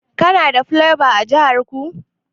Kuna da plyova a jihar ku?